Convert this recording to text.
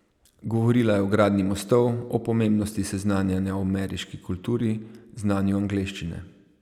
Govorila je o gradnji mostov, o pomembnosti seznanjanja o ameriški kulturi, znanju angleščine.